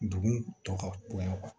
Dugu tɔ ka bonya